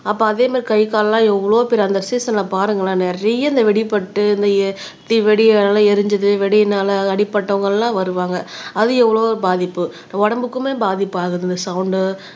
அப்ப அதே மாரி கை கால்லாம் எவ்வளவோ பேரு அந்த சீசன்ல பாருங்களேன் நிறைய இந்த வெடிப்பட்டு இந்த நல்லா எரிஞ்சது வெடியினால அடிபட்டவங்க எல்லாம் வருவாங்க அது எவ்வளவோ பாதிப்பு உடம்புக்குமே பாதிப்பு ஆகுது இந்த சவுண்ட்